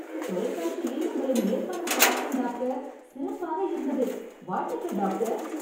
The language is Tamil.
தொலைகாட்சியில் உங்களின் நேர்காணல் பார்த்தேன் டாக்டர்... சிறப்பாக இருந்தது, வாழ்த்துகள் டாக்டர்.